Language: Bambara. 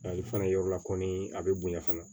Ale fana yɔrɔ la kɔni a bɛ bonya fana